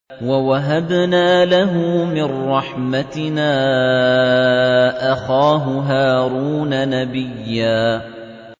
وَوَهَبْنَا لَهُ مِن رَّحْمَتِنَا أَخَاهُ هَارُونَ نَبِيًّا